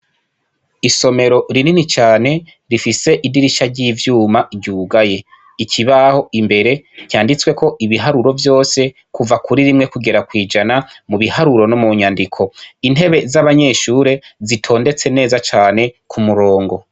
Isomero rinini cane, rifise idirishya ry'ivyuma ryugaye. Ikibaho imbere cyanditsweko ibiharuro vyose kuva kuri rimwe kugera kw'ijana ,mubiharuro no mu nyandik .Intebe z'abanyeshure zitondetse neza cane k' umurongo.